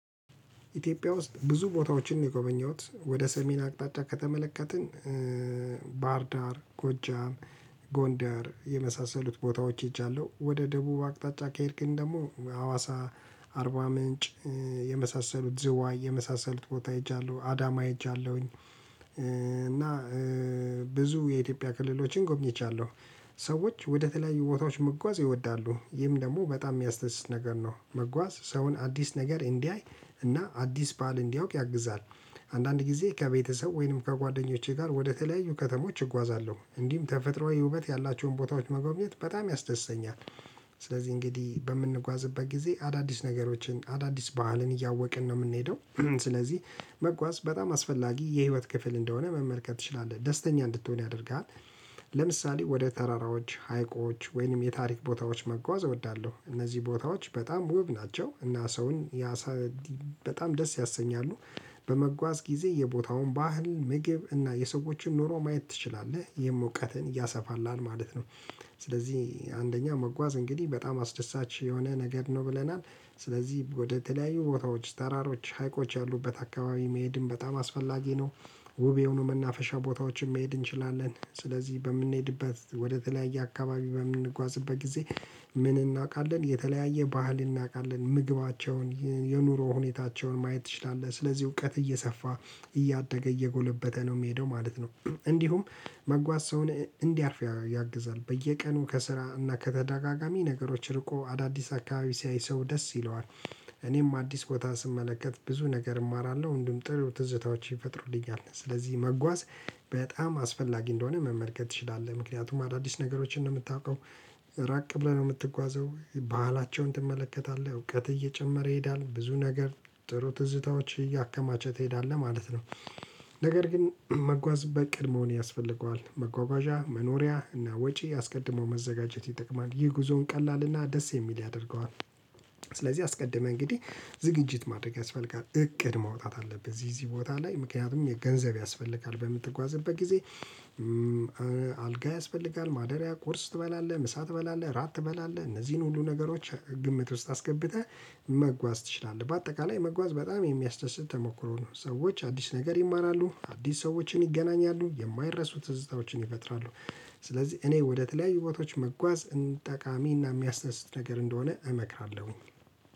ኢትዮጵያ ውስጥ ብዙ ቦታዎችን የጎበኘሁት ወደ ሰሜን አቅጣጫ ከተመለከትን ባህርዳር፣ ጎጃም፣ ጎንደር የመሳሰሉት ቦታዎች ሄጃለሁ። ወደ ደቡብ አቅጣጫ ከሄድክን ደግሞ ሀዋሳ፣ አርባ ምንጭ፣ የመሳሰሉት ዝዋይ የመሳሰሉት ቦታ ሄጃለሁ። አዳማ ሄጃለሁ። እና ብዙ የኢትዮጵያ ክልሎችን ጎብኝቻለሁ። ሰዎች ወደተለያዩ ቦታዎች መጓዝ ይወዳሉ። ይህም ደግሞ በጣም የሚያስደስት ነገር ነው። መጓዝ ሰውን አዲስ ነገር እንዲያይ እና አዲስ ባል እንዲያውቅ ያግዛል። አንዳንድ ጊዜ ከቤተሰብ ወይንም ከጓደኞቼ ጋር ወደተለያዩ ከተሞች እጓዛለሁ። እንዲህም ተፈጥሮአዊ ውበት ያላቸውን ቦታዎች መጎብኘት በጣም ያስደስተኛል። ስለዚህ እንግዲህ በምንጓዝበት ጊዜ አዳዲስ ነገሮችን አዳዲስ ባህልን እያወቅን ነው የምንሄደው ስለዚህ መጓዝ በጣም አስፈላጊ የህይወት ክፍል እንደሆነ መመልከት ትችላለህ። ደስተኛ እንድትሆን ያደርግሃል። ለምሳሌ ወደ ተራራዎች፣ ሀይቆች ወይንም የታሪክ ቦታዎች መጓዝ እወዳለሁ። እነዚህ ቦታዎች በጣም ውብ ናቸው። እና ሰውን በጣም ደስ ያሰኛሉ። በመጓዝ ጊዜ የቦታውን ባህል ምግብ እና የሰዎችን ኑሮ ማየት ትችላለህ። የሞቀትን ያሰፋላል ማለት ነው። ስለዚህ አንደኛ መጓዝ እንግዲህ በጣም አስደሳች የሆነ ነገር ነው። ብለናል ስለዚህ ወደተለያዩ ቦታዎች ተራሮች፣ ሀይቆች ያሉበት አካባቢ መሄድም በጣም አስፈላጊ ነው። ውብ የሆኑ መናፈሻ ቦታዎችን መሄድ እንችላለን። ስለዚህ በምንሄድበት ወደተለያየ አካባቢ በምንጓዝበት ጊዜ ምን እናውቃለን? የተለያየ ባህል እናውቃለን። ምግባቸውን የኑሮ ሁኔታቸውን ማየት ትችላለህ። ስለዚህ እውቀት እየሰፋ እያደገ እየጎለበተ ነው። የሚሄደው ማለት ነው። እንዲሁም መጓዝ ሰውን እንዲያርፍ ያግዛል። በየቀኑ ከስራና ከተዳጋጋሚ ነገሮች ርቆ አዳዲስ አካባቢ ሲያይ ሰው ደስ ይለዋል። እኔም አዲስ ቦታ ስመለከት ብዙ ነገር እማራለሁ። ወንድም ጥሩ ትዝታዎች ይፈጥሩልኛል። ስለዚህ መጓዝ በጣም አስፈላጊ እንደሆነ መመልከት ትችላለህ። ምክንያቱም አዳዲስ ነገሮችን ነው የምታውቀው ራቅ ብለህ ነው የምትጓዘው። ባህላቸውን ትመለከታለህ። እውቀት እየጨመረ ይሄዳል። ብዙ ነገር ጥሩ ትዝታዎች እያከማቸ ትሄዳለህ። ማለት ነው ነገር ግን መጓዝ በቅድ መሆን ያስፈልገዋል። መጓጓዣ መኖሪያ እና ወጪ አስቀድሞ መዘጋጀት ይጠቅማ። ይህ ጉዞውን ቀላል እና ደስ የሚል ያደርገዋል። ስለዚህ አስቀድመህ እንግዲህ ዝግጅት ማድረግ ያስፈልጋል። እቅድ ማውጣት አለብህ። ዚዚ ቦታ ላይ ምክንያቱም የገንዘብ ያስፈልጋል። በምትጓዝበት ጊዜ አልጋ ያስፈልጋል፤ ማደሪያ፣ ቂርስ ትበላለህ፣ ምሳ ትበላለህ፣ ራት ትበላለህ እነዚህን ሁሉ ነገሮች ግምት ውስጥ አስገብተህ መጓዝ ትችላለህ። በአጠቃላይ መጓዝ በጣም የሚያስደስት ተሞክሮ ነው። ሰዎች አዲስ ነገር ይማራሉ፤ አዲስ ሰዎችን ይገናኛሉ፤ የማይረሱ ትዝታዎችን ይፈጥራሉ። ስለዚህ እኔ ወደተለያዩ ቦታዎች መጓዝ ጠቃሚ እና የሚያስደስት ነገር እንደሆነ እመክራለሁ።